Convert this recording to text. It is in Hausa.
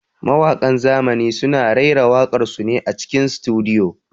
Mawaƙan zamani suna raira waƙar su ne a cikin sutudiyo.